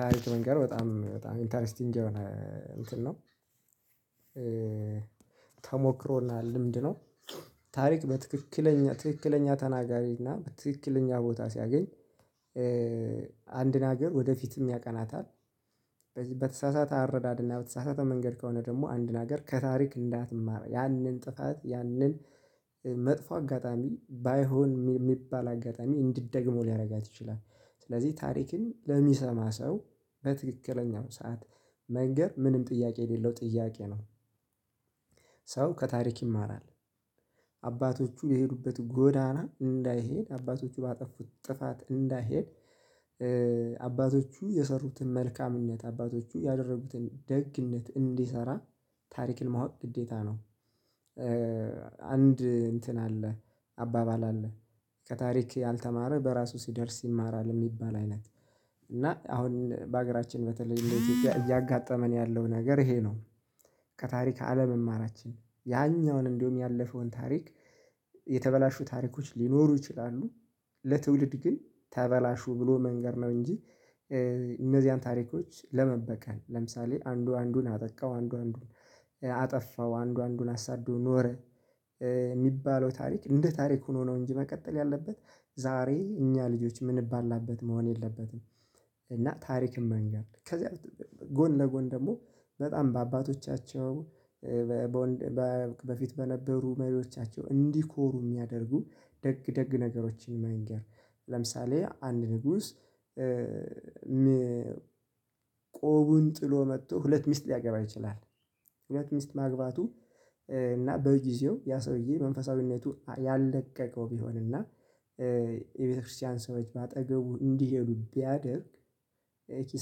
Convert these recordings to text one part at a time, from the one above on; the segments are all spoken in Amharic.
ታሪክ መንገር በጣም በጣም ኢንተርስቲንግ የሆነ እንትን ነው። ተሞክሮና ልምድ ነው። ታሪክ በትክክለኛ ትክክለኛ ተናጋሪ እና ትክክለኛ ቦታ ሲያገኝ። አንድን ሀገር ወደፊትም ያቀናታል። በዚህ በተሳሳተ አረዳድና በተሳሳተ መንገድ ከሆነ ደግሞ አንድን ሀገር ከታሪክ እንዳትማር ያንን ጥፋት ያንን መጥፎ አጋጣሚ ባይሆን የሚባል አጋጣሚ እንድትደግመው ሊያደርጋት ይችላል። ስለዚህ ታሪክን ለሚሰማ ሰው በትክክለኛው ሰዓት መንገር ምንም ጥያቄ የሌለው ጥያቄ ነው። ሰው ከታሪክ ይማራል። አባቶቹ የሄዱበት ጎዳና እንዳይሄድ አባቶቹ ባጠፉት ጥፋት እንዳይሄድ። አባቶቹ የሰሩትን መልካምነት አባቶቹ ያደረጉትን ደግነት እንዲሰራ። ታሪክን ማወቅ ግዴታ ነው። አንድ እንትን አለ አባባል አለ ከታሪክ ያልተማረ በራሱ ሲደርስ ይማራል የሚባል አይነት። እና አሁን በአገራችን በተለይ እያጋጠመን ያለው ነገር ይሄ ነው። ከታሪክ አለመማራችን ያኛውን እንዲውም ያለፈውን ታሪክ። የተበላሹ ታሪኮች ሊኖሩ ይችላሉ። ለትውልድ ግን ተበላሹ ብሎ መንገር ነው እንጂ። እነዚያን ታሪኮች ለመበቀል ለምሳሌ አንዱ አንዱን አጠቃው አንዱ አንዱን አጠፋው አንዱ አንዱን አሳዶ ኖረ። የሚባለው ታሪክ እንደ ታሪክ ሆኖ ነው እንጂ መቀጠል ያለበት ዛሬ እኛ ልጆች የምንባላበት መሆን የለበትም። እና ታሪክም መንገር ከዛ ጎን ለጎን ደግሞ በጣም በአባቶቻቸው በፊት በነበሩ መሪዎቻቸው እንዲኮሩ የሚያደርጉ ደግ ደግ ነገሮችን መንገር ለምሳሌ አንድ ንጉስ። ቆቡን ጥሎ መጥቶ ሁለት ሚስት ሊያገባ ይችላል። ሚስት ማግባቱ እና በጊዜው ያ ሰውዬ መንፈሳዊነቱ ያለቀቀው ቢሆንና። የቤተክርስቲያን ሰዎች በአጠገቡ እንዲሄዱ ቢያደርግ። ይህ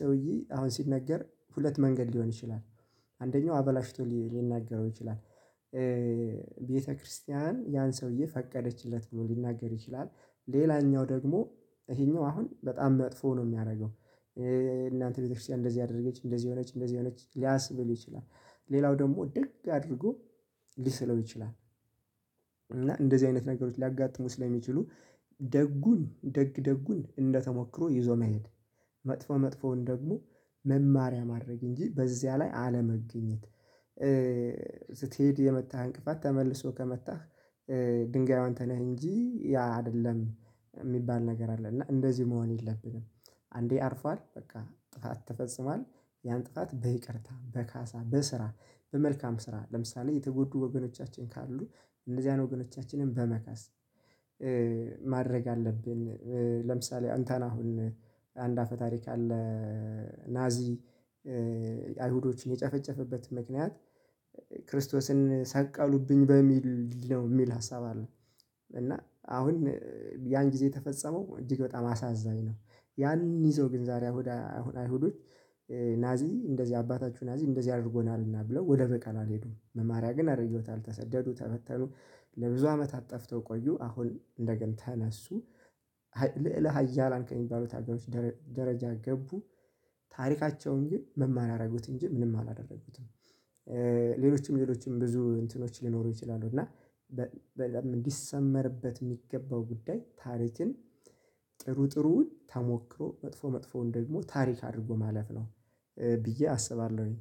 ሰውዬ አሁን ሲነገር ሁለት መንገድ ሊሆን ይችላል። አንደኛው አበላሽቶ ሊናገረው ይችላል። ቤተክርስቲያን ያን ሰውዬ ፈቀደችለት ብሎ ሊናገር ይችላል። ሌላኛው ደግሞ ይሄኛው አሁን በጣም መጥፎ ነው የሚያደርገው። የናንተ ቤተክርስቲያን እንደዚህ አደረገች እንደዚህ ሆነች እንደዚህ ሆነች ሊያስብል ይችላል። ሌላው ደግሞ ደግ አድርጎ ሊሰለው ይችላል። እና እንደዚህ አይነት ነገሮች ሊያጋጥሙ ስለሚችሉ። ደጉን ደግ ደጉን እንደተሞክሮ ይዞ መሄድ። መጥፎ መጥፎውን ደግሞ መማሪያ ማድረግ እንጂ በዚያ ላይ አለመገኘት። ስትሄድ የመታህ እንቅፋት ተመልሶ ከመታህ ድንጋዩ አንተ ነህ እንጂ ያ አይደለም። የሚባል ነገር አለ እና እንደዚህ መሆን የለብንም። አንዴ አርፏል በቃ ጥፋት ተፈጽሟል። ያን ጥፋት በይቅርታ በካሳ በስራ በመልካም ስራ ለምሳሌ የተጎዱ ወገኖቻችን ካሉ እነዚያን ወገኖቻችንን በመካስ ማድረግ አለብን። ለምሳሌ አንተን አሁን አንድ አፈ ታሪክ አለ። ናዚ አይሁዶችን የጨፈጨፈበት ምክንያት ክርስቶስን ሰቀሉብኝ በሚል ነው የሚል ሀሳብ አለው። እና አሁን ያን ጊዜ ተፈጸመው እጅግ በጣም አሳዛኝ ነው። ያን ይዞ ግን ዛሬ አሁን አይሁዶች ናዚ እንደዚህ አባታችሁ ናዚ እንደዚህ አድርጎናልና ብለው ወደ በቃል አልሄዱም መማሪያ ግን አደረገውታል ተሰደዱ ተበተኑ ለብዙ አመታት ጥፍተው ቆዩ አሁን እንደገና ተነሱ። ልዕለ ሀያላን ከሚባሉት ሀገሮች ደረጃ ገቡ። ታሪካቸውን ግን መማሪያ አረጉት እንጂ ምንም አላደረጉትም። ሌሎችም ሌሎችም ብዙ እንትኖች ሊኖሩ ይችላሉ እና። እንዲሰመርበት የሚገባው ጉዳይ ታሪክን ጥሩ ጥሩውን ተሞክሮ መጥፎ መጥፎውን ደግሞ ታሪክ አድርጎ ማለፍ ነው። ብዬ አስባለሁኝ